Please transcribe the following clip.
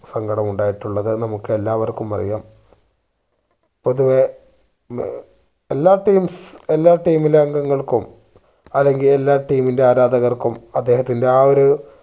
സങ്കടമുണ്ടായിട്ടുള്ളത് നമ്മുക്ക് എല്ലാവർക്കും അറിയാം. പൊതുവെ മ് എല്ലാ teams എല്ലാ team ലെ അംഗങ്ങൾക്കും അല്ലെങ്കിൽ എല്ലാ team ന്റെ ആരാധർക്കും അദ്ദേഹത്തിന്റെ ആ ഒരു